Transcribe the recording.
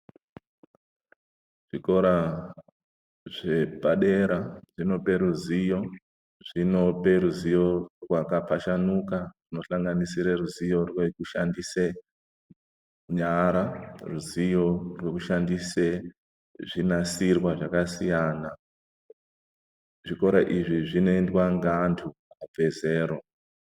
Zvikora zvepadera zvinopa ruzivo rwakafashanuka kupa ruzivo rwekushandisa nyara ruzivo rwekushandisa zvinasirwa zvakasiyana siyana zvikora izvi zvinoendea ngevantu vezera.